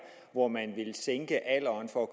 hvor man vil sænke alderen for